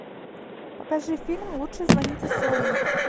покажи фильм лучше звоните солу